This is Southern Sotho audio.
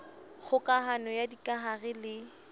kgoka hano ya dikahare le